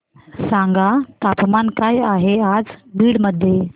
सांगा तापमान काय आहे आज बीड मध्ये